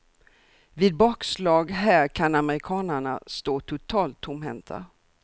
Vid bakslag här kan amerikanerna stå totalt tomhänta.